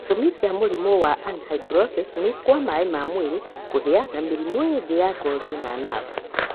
Gĩtũmi kia mũrimũ wa anhidrosis nĩ kwa maĩ ma mwĩrĩ, kũhĩa na mĩrimũ ĩngĩ ya ngothi na navu.